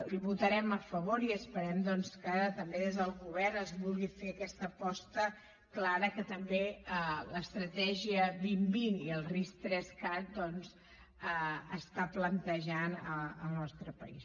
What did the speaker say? hi votarem a favor i esperem que també des del govern es vulgui fer aquesta aposta clara que també l’estratègia dos mil vint i el ris3cat plantegen al nostre país